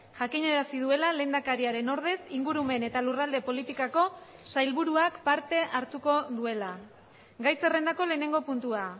jakinarazi duela lehendakariaren ordez ingurumen eta lurralde politikako sailburuak parte hartuko duela gai zerrendako lehenengo puntua